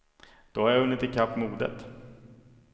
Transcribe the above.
Då har jag hunnit ikapp modet.